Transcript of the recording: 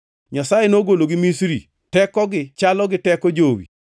Nyasaye nogologi Misri; tekogi chalo gi teko jowi.